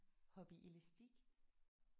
Hoppe i elastik?